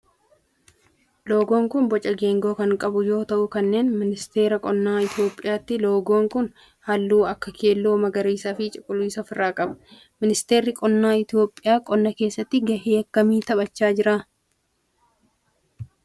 Loogoon kun boca geengoo kan qabu yoo ta'u kan ministeera qonnaa Itiyoophiyaati. loogoon kun halluu akka keelloo, magariisa fi cuquliisa of irraa qaba. ministeerri qonna Itiyoophiyaa qonna keessatti gahee akkamii taphacha jira?